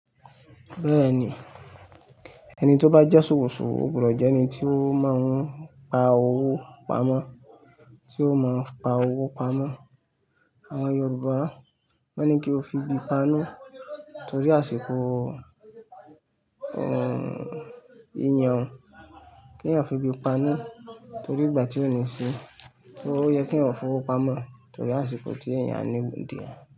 Beeni, eni ti o ba je sowosowo, o gbudo je eni ti o maa n pa owo pamo, ti o maa pa owo pamo. Àwọn Yorùbá máa ń ní kí o fi bí i panú torí àsìkò, ìyan, kí èèyàn fi ebí panú torí ìgbà tí ó ní sí, so ó yẹ kí eeyan fowó pamọ́ torí àsìkò tí èèyàn a need ẹ.